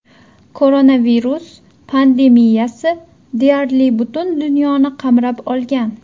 Koronavirus pandemiyasi deyarli butun dunyoni qamrab olgan.